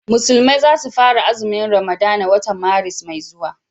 musulmai za su fara azumin ramadana watan Maris mai zuwa